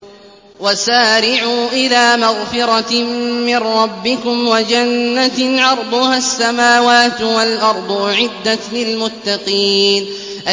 ۞ وَسَارِعُوا إِلَىٰ مَغْفِرَةٍ مِّن رَّبِّكُمْ وَجَنَّةٍ عَرْضُهَا السَّمَاوَاتُ وَالْأَرْضُ أُعِدَّتْ لِلْمُتَّقِينَ